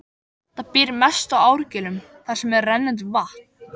Það býr mest í árgiljum þar sem er rennandi vatn.